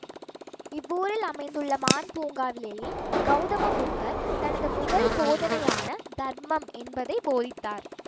இவ்வூரில் அமைந்துள்ள மான் பூங்காவிலேயே கௌதம புத்தர் தனது முதல் போதனையான தர்மம் என்பதை போதித்தார்